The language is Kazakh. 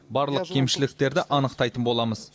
барлық кемшіліктерді анықтайтын боламыз